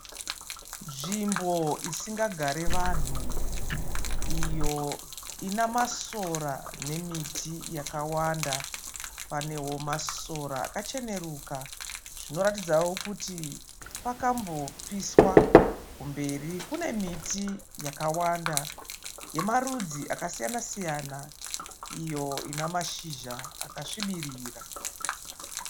Nzvimbo isingagare vanhu. Iyo Ina masora nemiti yakawanda. Panewo masora akacheneruka. Zvinoratidzawo kuti pakambo piswa. kumberi kune miti yakawanda yemarudzi akasiyana siyana. Iyo ina mashizha akasvibirira.